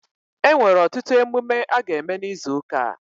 E nwere ọtụtụ emume a ga eme n'izu ụka a